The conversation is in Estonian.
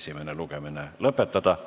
esimene lugemine lõpetada.